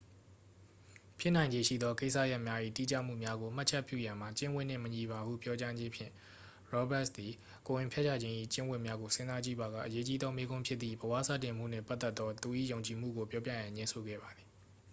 ဖြစ်နိုင်ခြေရှိသော ကိစ္စရပ်များ၏ တိကျမှုများကို မှတ်ချက်ပြုရန်မှာ ကျင့်ဝတ်နှင့်မညီပါဟု ပြောကြားခြင်းဖြင့် ရောဘတ်စ် သည် ကိုယ်ဝန်ဖျက်ချခြင်း၏ ကျင့်ဝတ်များကို စဉ်းစားကြည့်ပါက အရေးကြီးသော မေးခွန်းဖြစ်သည့် ဘဝစတင်မှုနှင့်ပတ်သက်သော သူ၏ယုံကြည်မှုကို ပြောပြရန် ငြင်းဆိုခဲ့ပါသည်